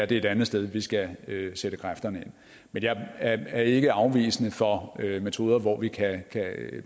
det er et andet sted vi skal sætte kræfterne ind men jeg er ikke afvisende for metoder hvor vi kan